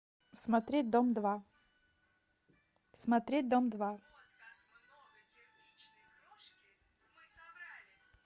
смотреть дом два смотреть дом два